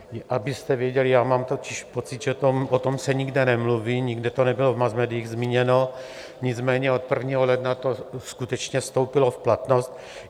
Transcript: Abyste věděli, já mám totiž pocit, že o tom se nikde nemluví, nikde to nebylo v masmédiích zmíněno, nicméně od 1. ledna to skutečně vstoupilo v platnost.